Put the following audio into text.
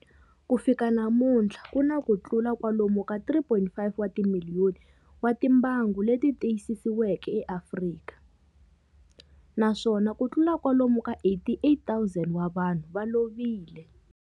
Ku fika namuntlha ku na kutlula kwalomu ka 3.5 wa timiliyoni wa timbangu leti tiyisisiweke eAfrika, naswona kutlula kwalomu ka 88,000 wa vanhu va lovile.